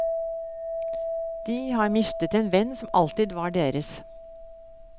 De har mistet en venn som alltid var deres.